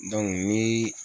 ni